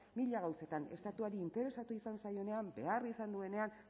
mila gauzetan estatuari interesatu izan zaionean behar izan duenean